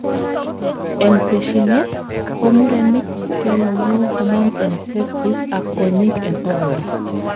en teshinet, komurenik konemu hormones en testes ak kwonyik en ovaries